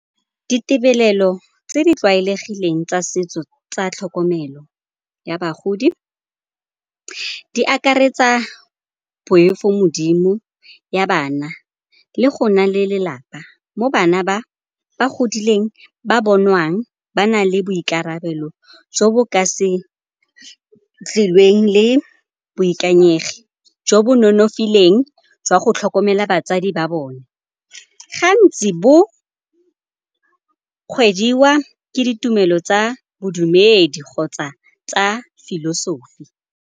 Ditibelelo tse di tlwaelegileng tsa setso tsa tlhokomelo ya bagodi di akaretsa poifo modimo ya bana le go nna le lelapa mo bana ba ba godileng ba bonwang ba na le boikarabelo jo bo ka se tlileng le boikanyegi jo bo no nonofileng jwa go tlhokomela batsadi ba bone. Gantsi bo kgwediwa ke ditumelo tsa bodumedi kgotsa tsa philosophy.